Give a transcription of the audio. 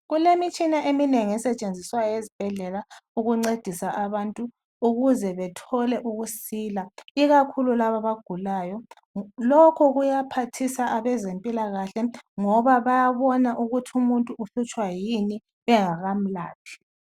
Kulemitshina eminengi esetshenziswayo ezibhedlela ukuncedisa abantu ukuze bethole ukusila ikakhulu laba abagulayo. Lokho kuyaphathisa abezempilakahle ngoba bayabon ukuthi umuntu uhlutshwa yini bengakamlaphi.